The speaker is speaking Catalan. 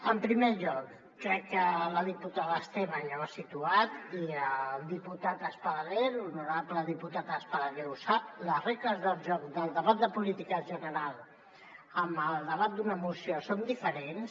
en primer lloc crec que la diputada esteve ja ho ha situat i el diputat espadaler l’honorable diputat espadaler ho sap les regles del joc del debat de política general i el debat d’una moció són diferents